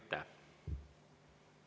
Aitäh!